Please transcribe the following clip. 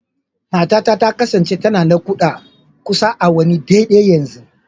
Matata ta kasance tana naƙuda kusan awanni daidai yanzu.